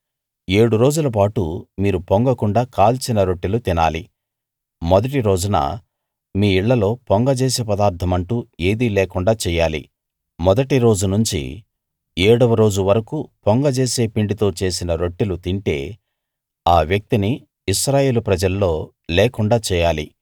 ఏడు రోజులపాటు మీరు పొంగకుండా కాల్చిన రొట్టెలు తినాలి మొదటి రోజున మీ ఇళ్ళలో పొంగ జేసే పదార్ధమంటూ ఏదీ లేకుండా చెయ్యాలి మొదటి రోజు నుంచి ఏడవ రోజు వరకూ పొంగ జేసే పిండితో చేసిన రొట్టెలు తింటే ఆ వ్యక్తిని ఇశ్రాయేలు ప్రజల్లో లేకుండా చేయాలి